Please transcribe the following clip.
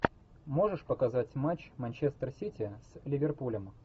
можешь показать матч манчестер сити с ливерпулем